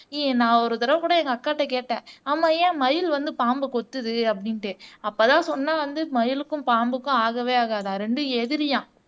ஏய் நான் ஒரு தடவை கூட எங்க அக்காகிட்ட கேட்டேன் ஆமாம் ஏன் மயில் வந்து பாம்பு கொத்துது அப்படின்னுட்டு அப்பதான் சொன்னா வந்து மயிலுக்கும் பாம்புக்கும் ஆகவே ஆகாத ரெண்டும் எதிரியாம்